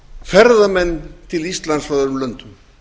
ferðamenn til íslands frá öðrum löndum